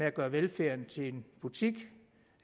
at gøre velfærden til en butik